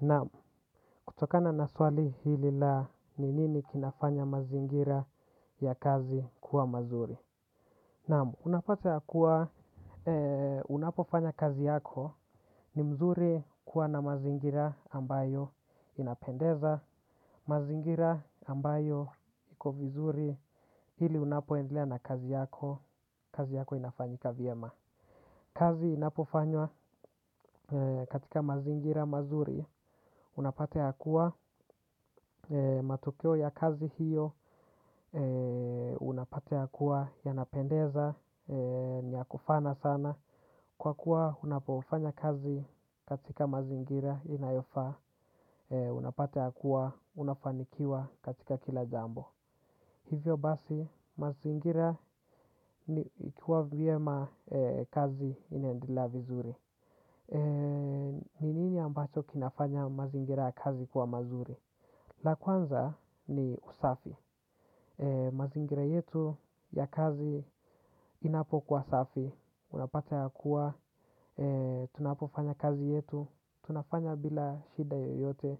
Naam, kutokana na swali hili la ni nini kinafanya mazingira ya kazi kuwa mazuri. Naam, unapata ya kuwa unapofanya kazi yako ni mzuri kuwa na mazingira ambayo inapendeza, mazingira ambayo iko vizuri hili unapoendelea na kazi yako, kazi yako inafanyika vyema. Kazi inapofanywa katika mazingira mazuri, unapata ya kuwa matokeo ya kazi hiyo, unapata ya kuwa yanapendeza, niyakufana sana. Kwa kuwa unapofanya kazi katika mazingira inayofaa, unapata ya kuwa, unafanikiwa katika kila jambo. Hivyo basi, mazingira ikuwa vyema kazi inaendelea vizuri. Ni nini ambacho kinafanya mazingira ya kazi kwa mazuri. La kwanza ni usafi. Mazingira yetu ya kazi inapokuwa safi. Unapata ya kuwa tunapofanya kazi yetu. Tunafanya bila shida yoyote.